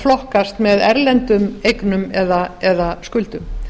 flokkast með erlendum eignum eða skuldum